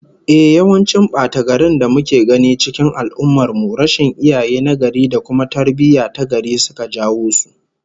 Ehh, yawancin bata-garin da muke gani cikin al'ummar mu, rashin iyaye nagari da kuma tarbiyyah tagari suka jawo su